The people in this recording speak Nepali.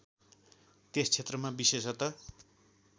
त्यस क्षेत्रमा विशेषत